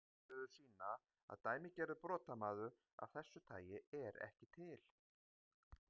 Niðurstöður sýna að dæmigerður brotamaður af þessu tagi er ekki til.